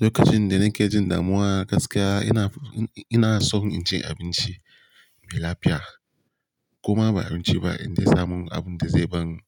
Lokacin da nake jin damuwa gaskiya ina, ina son inji abinci mai lafiya. Kuma ba abinci ba inda zamu abun da zai ban